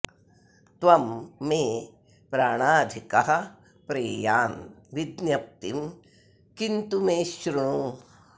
त्वं मे प्राणाधिकः प्रेयान् विज्ञप्तिं किं तु मे शृणु